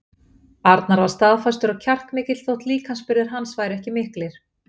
Arnar var staðfastur og kjarkmikill þótt líkamsburðir hans væru ekki miklir.